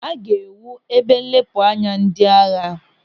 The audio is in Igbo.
A ga-ewu ebe nlepụ anya ndị agha.